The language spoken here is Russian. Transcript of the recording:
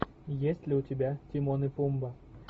есть ли у тебя тимон и пумба